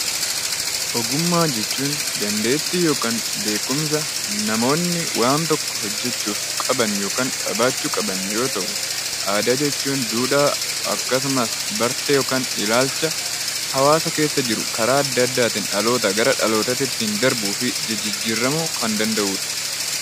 Ogummaa jechuun dandeettii yookaan beekumsa namoonni waan tokko hojjechuuf qaban yookaan qabaachuu qaban yoo ta'u, aadaa jechuun duudhaa, akkasumas bartee yookaan ilaalcha hawaasa keessa jiru karaa adda addaatiin dhalootaa gara dhalootaatti ittiin darbuu fi jijijjiiramuu kan danda'uu dha.